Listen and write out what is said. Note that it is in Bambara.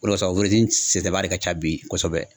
O de kosɔn sɛsɛnba de ka ca bi kosɛbɛ.